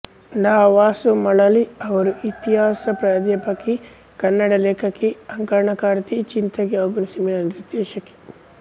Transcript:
ಡಾ ವಸು ಮಳಲಿ ಅವರು ಇತಿಹಾಸ ಪ್ರಾಧ್ಯಾಪಕಿ ಕನ್ನಡ ಲೇಖಕಿ ಅಂಕಣಕಾರ್ತಿ ಚಿಂತಕಿ ಹಾಗೂ ಸಿನಿಮಾ ನಿರ್ದೇಶಕಿ